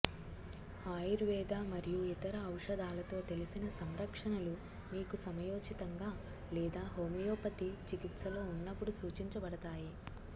ఆయుర్వేద మరియు ఇతర ఔషధాలతో తెలిసిన సంకర్షణలు మీకు సమయోచితంగా లేదా హోమియోపతి చికిత్సలో ఉన్నప్పుడు సూచించబడతాయి